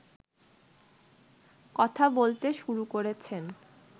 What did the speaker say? কথা বলতে শুরু করেছেন